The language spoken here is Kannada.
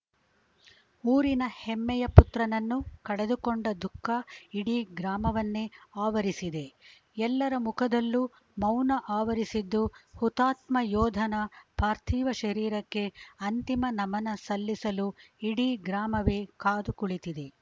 ಊರಿನ ಹೆಮ್ಮೆಯ ಪುತ್ರನನ್ನು ಕಳೆದುಕೊಂಡ ದುಃಖ ಇಡಿ ಗ್ರಾಮವನ್ನೇ ಆವರಿಸಿದೆ ಎಲ್ಲರ ಮುಖದಲ್ಲೂ ಮೌನ ಆವರಿಸಿದ್ದು ಹುತಾತ್ಮ ಯೋಧನ ಪಾರ್ಥಿವ ಶರೀರಕ್ಕೆ ಅಂತಿಮ ನಮನ ಸಲ್ಲಿಸಲು ಇಡಿ ಗ್ರಾಮವೇ ಕಾದು ಕುಳಿತಿದೆ